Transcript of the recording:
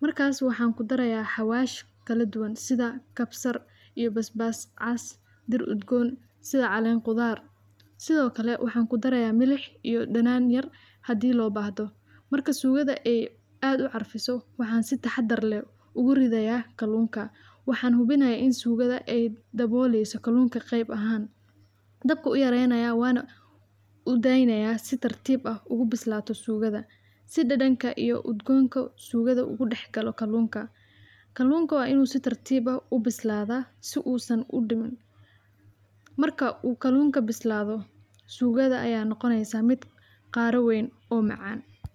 Markaas waxaan ku darayaa xawaash kala duwan sida kabsar iyo basbaas, cas dir udgoon sida calleen qudaar. Sidoo kale waxaan ku darayaa milix iyo dhanaan yar haddii loo baahdo. Marka suugada ay aad u carfiso, waxaan si taxadar leh ugu ridayaa kaloonka. Waxaan hubinayaa in suugada ay dabooliiso kaloonka qeyb ahaan. Dabku u yaraanaya waana u daaynaya si tartiib ah ugu bislaato suugada si dhadhanka iyo udgoonka suugada ugu dhexgalo kaloonka. Kaloonku waa inuu si tartiib ah u bislaada si uusan u dhiman. Marka uu kaloonka bislaado, suugada ayaa noqonaysa mid qaar weyn oo macaan.